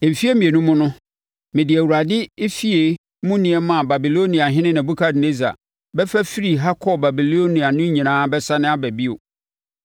Mfeɛ mmienu mu no, mede Awurade efie mu nneɛma a Babiloniahene Nebukadnessar bɛfa firii ha kɔɔ Babilonia no nyinaa bɛsane aba bio.